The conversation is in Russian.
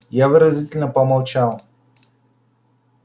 я выразительно помолчал